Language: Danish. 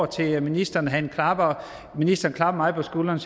til ministeren at han klapper mig på skulderen